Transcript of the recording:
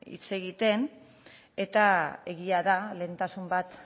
hitz egiten eta egia da lehentasun bat